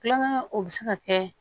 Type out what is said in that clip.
Kulonkɛ o bɛ se ka kɛ